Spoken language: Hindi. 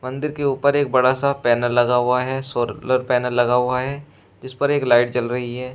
मंदिर के ऊपर एक बड़ा सा पैनल लगा हुआ है सोर लर पैनल लगा हुआ है जिस पर एक लाइट जल रही है।